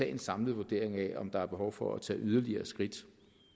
en samlet vurdering af om der er behov for at tage yderligere skridt